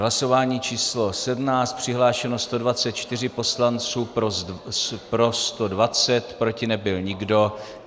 Hlasování číslo 17, přihlášeno 124 poslanců, pro 120, proti nebyl nikdo.